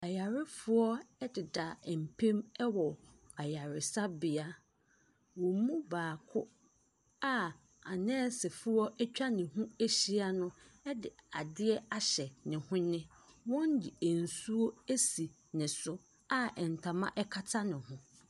Ayarefoɔ deda mpam wɔ ayaresabea. Wɔn mu baako a anɛɛsefoɔ atwa ne ho ahyia no de adeɛ ahyɛ ne hwene. Wɔde nsuo asi ne so a ntoma kata ne ho.